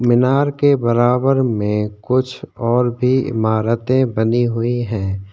मिनार के बराबर में कुछ और भी इमारतें बनी हुईं है।